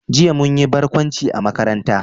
Jiya mun yi barkwanci a makaranta